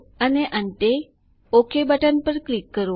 અને અંતે OK button પર ક્લિક કરો